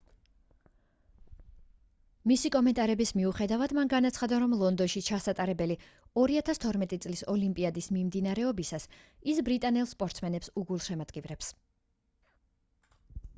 მისი კომენტარების მიუხედავად მან განაცხადა რომ ლონდონში ჩასატარებელი 2012 წლის ოლიმპიადის მიმდინარეობისას ის ბრიტანელ სპორტსმენებს უგულშემატკივრებს